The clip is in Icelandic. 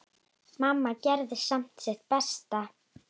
Mamma gerði samt sitt besta.